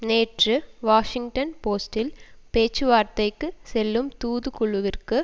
நேற்று வாஷிங்டன் போஸ்ட்டில் பேச்சுவார்த்தைக்கு செல்லும் தூதுக்குழுவிற்கு